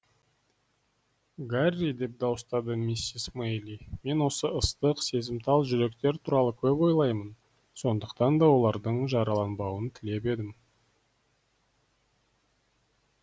гарри деп дауыстады миссис мэйли мен осы ыстық сезімтал жүректер туралы көп ойлаймын сондықтан да олардың жараланбауын телеп едім